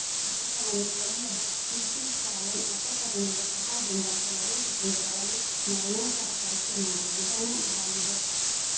ದೇಹವನ್ನು ಕೊಯ್ಯದೇ CT scan ಉಪಕರಣದ ಸಹಾಯದಿಂದ ಕೆಲವೇ ಸೆಕೆಂಡುಗಳಲ್ಲಿ ಮರಣೋತ್ತರ ಪರೀಕ್ಷೆ ಮಾಡುವ ವಿಧಾನ ಇದಾಗಿದೆ